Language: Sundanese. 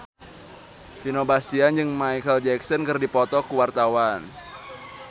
Vino Bastian jeung Micheal Jackson keur dipoto ku wartawan